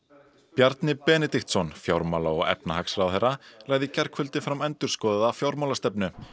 Bjarni Benediktsson fjármála og efnahagsráðherra lagði í gærkvöldi fram endurskoðaða fjármálastefnu